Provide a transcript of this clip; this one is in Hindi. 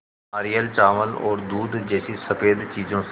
नारियल चावल और दूध जैसी स़फेद चीज़ों से